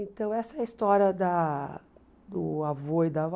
Então, essa é a história da do avô e da avó.